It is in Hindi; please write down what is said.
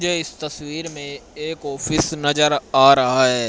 ये इस तस्वीर मैं एक ऑफिस नजर आ रहा हैं।